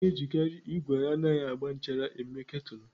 A na-ejikarị igwe anaghị agba nchara mee Kètụlụ.